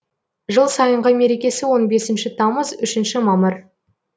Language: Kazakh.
жыл сайынғы мерекесі он бесінші тамыз үшінші мамыр